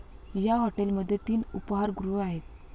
या हॉटेलमध्ये तीन उपाहारगृहे आहेत.